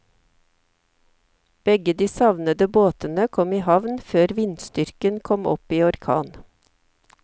Begge de savnede båtene kom i havn før vindstyrken kom opp i orkan.